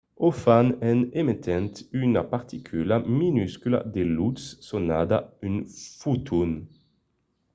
o fan en emetent una particula minuscula de lutz sonada un foton